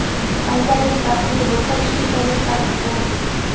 Qanchalik baxtli bo‘lsak, shunchalik kam uxlaymiz.